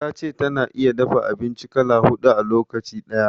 Ta ce ta na iya dafa abinci kala huɗu a lokaci ɗaya.